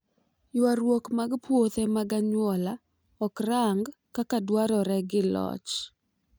ywaruok mag puodho mag anyuola ok rang kaka dwarore gi loch